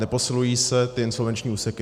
Neposilují se ty insolvenční úseky?